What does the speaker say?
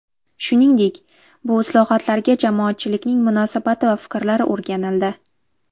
Shuningdek, bu islohotlarga jamoatchilikning munosabati va fikrlari o‘rganildi.